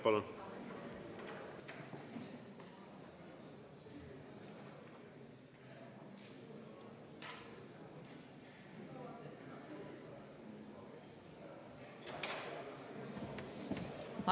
Palun!